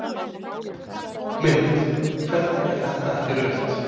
Mynd: Hvernig er þetta ekki rautt?